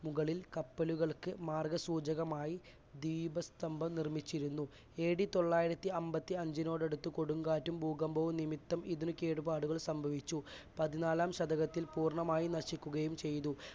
മുകളിൽ കപ്പലുകൾക്ക് മാർഗ്ഗസൂചകമായി ദീപസ്തംഭം നിർമ്മിച്ചിരുന്നു. എ ഡി തൊള്ളായിരത്തിഅൻപത്തിയഞ്ചിനോടടുത്ത് കൊടുങ്കാറ്റും, ഭൂകമ്പവും നിമിത്തം ഇതിന് കേടുപാടുകൾ സംഭവിച്ചു. പതിനാലാം ശതകത്തിൽ പൂർണമായി നശിക്കുകയും ചെയ്തു.